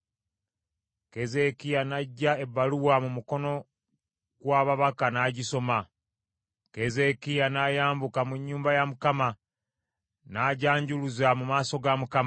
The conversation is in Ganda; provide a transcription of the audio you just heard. Keezeekiya n’aggya ebbaluwa mu mukono gw’ababaka n’agisoma: Keezeekiya n’ayambuka mu nnyumba ya Mukama n’agyanjuluza mu maaso ga Mukama .